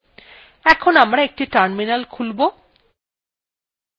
এখন আমারা একটি terminal খুলব